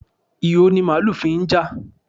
Ìho ni màálù fi ń jà.